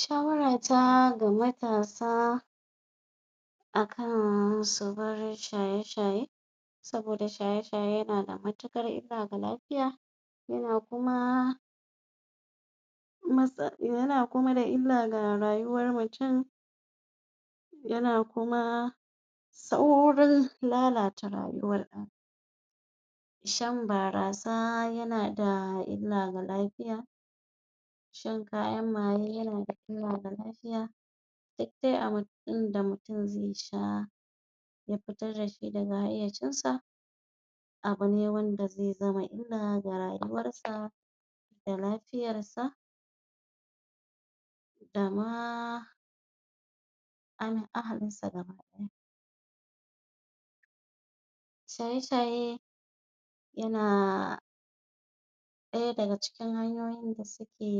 shawara ta ga matasa akan subar shaye shaye saboda shaya shaye yanada matuƙar illa ga lafiya yana kuma masa yana kuma da illa ga rayuwar mutum yana kuma saurin lalata rayuwar ɗan adam shan barasa yana da illa ga lafiya shan kayan maye yana da illa ga lafiya duk de abun da mutum ze sha ya fitar dashi daga hayyacin sa abune wanda ze zama illa ga rayuwar sa da lafiyar sa da ma ahalin sa shaye shaye yana ɗaya daga cikin hanyoyin da suke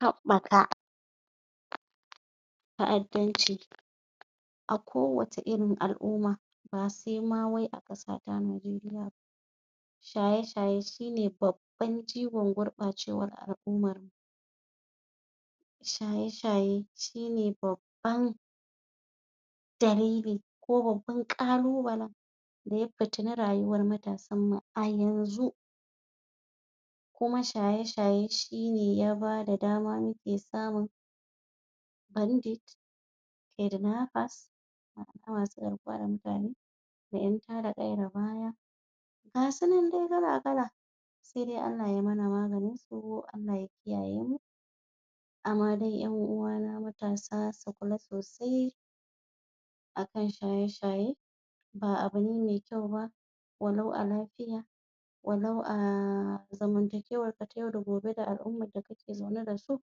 haɓɓaka ta'addanci a ko wacce irin al'uma ba se ma wai a ƙasata nigeria ba shaye shaye shine babban jigon gurɓacewar al'umar shaye shaye shine babban dalili ko babban ƙalubalen daya fitini rayuwar matasan mu a yanzu kuma shaye shaye shine ya bada dama muke samun bandit kidnappers da masu damfarar mutane da ƴan tada ƙayar baya gasu nan dai kala kala se dai Allah ya mana maganin su Allah ya kiyaye mu amma dai ƴan uwana matasa su kula sosai akan shaye shaye ba abune me kyau ba wa lau a lafiya walau a zamantakewar ka ta yau da gobe da al'umar da kake zaune dasu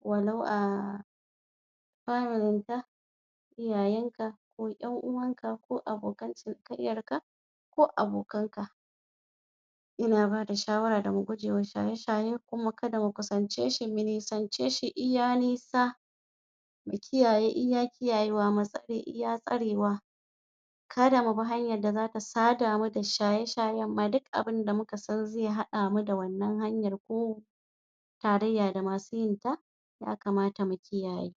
walau a familin ka iyayen ka ƴan uwan ka ko abokan cinikayyar ka ko abokan ka ina bada shawara da mu gujewa shaye shaye kuma kada mu kusance shi mu nisance shi iya nisa mu kiyaye iya kiyayewa mu tsare iya tsarewa kada mubi hanyar da zata sada mu da shaye shayen ma duk abin da muka sani ze haɗa mu da wannan hanyar ko tarayya da masu yinta ya kamata mu kiyaye